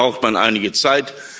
Dafür braucht man einige Zeit.